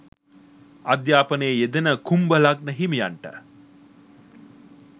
අධ්‍යාපනයේ යෙදෙන කුම්භ ලග්න හිමියන්ට